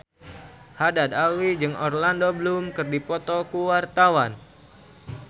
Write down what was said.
Haddad Alwi jeung Orlando Bloom keur dipoto ku wartawan